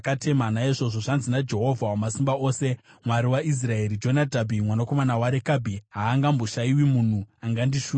Naizvozvo, zvanzi naJehovha Wamasimba Ose, Mwari waIsraeri: ‘Jonadhabhi mwanakomana waRekabhi haangamboshayiwi munhu angandishumira.’ ”